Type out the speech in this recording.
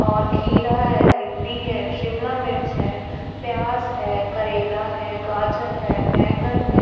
और खीर है भिंडी है शिमला मिर्च है प्याज है करेला है गाजर है बैंगन है।